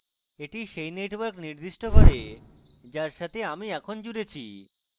এটি সেই network নির্দিষ্ট করে যার সাথে আমি এখন জুড়েছি